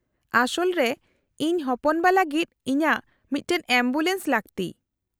-ᱟᱥᱚᱞ ᱨᱮ, ᱤᱧ ᱦᱚᱯᱚᱱᱵᱟ ᱞᱟᱹᱜᱤᱫ ᱤᱧᱟᱹᱜ ᱢᱤᱫᱴᱟᱝ ᱮᱢᱵᱩᱞᱮᱱᱥ ᱞᱟᱹᱠᱛᱤ ᱾